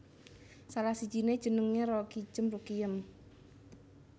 Salah sijine jenenge Roekijem Rukiyem